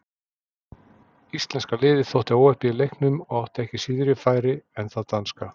Íslenska liðið þótti óheppið í leiknum og átti ekki síðri færi en það danska.